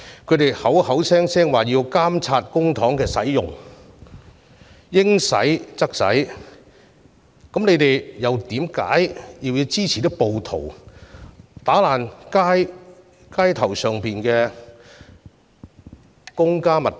反對派口口聲聲說要監察公帑用途，應使則使，但他們為何又要支持暴徒破壞街上的公家物品呢？